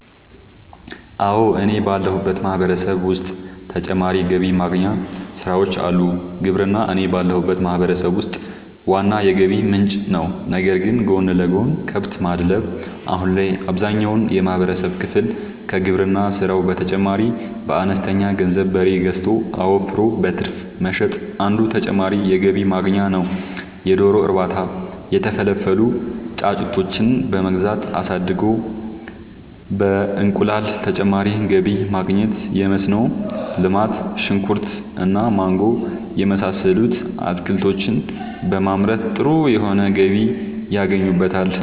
አወ እኔ ባለሁበት ማህበረሰብ ዉስጥ ተጨማሪ ገቢ ማግኛ ስራወች አሉ። ግብርና እኔ ባለሁበት ማህበረሰብ ውስጥ ዋና የገቢ ምንጭ ነዉ ነገር ግን ጎን ለጎን :- ከብት ማድለብ :- አሁን ላይ አብዛኛውን የማህበረሰብ ክፍል ከግብርና ስራው በተጨማሪ በአነስተኛ ገንዘብ በሬ ገዝቶ አወፍሮ በትርፍ መሸጥ አንዱ ተጨማሪ የገቢ ማግኛ ነዉ የዶሮ እርባታ:- የተፈለፈሉ ጫጩቶችን በመግዛት አሳድጎ በእንቁላል ተጨማሪ ገቢ ማግኘት የመስኖ ልማት :-ሽንኩርት እና ማንጎ የመሳሰሉት አትክልቶችን በማምረት ጥሩ የሆነ ገቢ ያገኙበታል